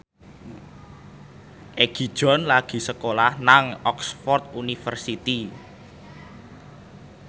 Egi John lagi sekolah nang Oxford university